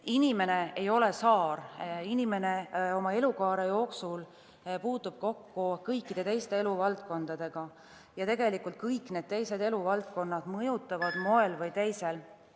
Inimene ei ole saar, inimene oma elukaare jooksul puutub kokku kõikide teiste eluvaldkondadega ja tegelikult kõik need teised eluvaldkonnad mõjutavad moel või teisel ...